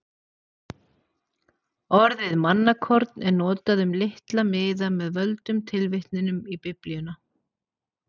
Orðið mannakorn er notað um litla miða með völdum tilvitnunum í Biblíuna.